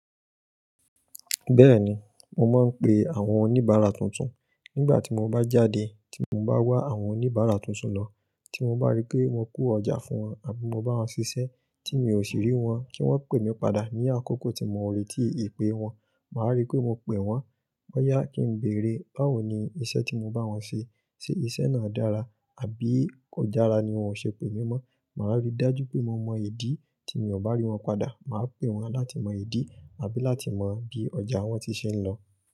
Bẹ́ẹ̀ni, mo máa ń pe àwọn oníbàárà tuntun. Nígbà tí mo bá jáde tí mo bá wá àwọn oníbàárà tuntun lọ, tí mo bá rí pé wọ́n ko ọjà fún wọn àbí mo bá wọn ṣiṣẹ́ tí mi ò sì rí wọn kí wọ́n pè mí padà. Ni àkókò tí mo ó retí ìpè wọn, màá rí pé mo pè wọ́n. Bo yá kí n béèrè báwo ni iṣẹ́ tí mo bá wọn ṣe, ṣe iṣẹ́ náà dára àbí kò dára ni wọ́n ó ṣe pè mí mọ́. Màá rí dájú pé mo mọ ìdí tí mi ò bá rí wọn padà. Màá pè wọ́n láti mọ ìdí àbí láti mọ bí ọjà wọn tí ṣe ń lọ.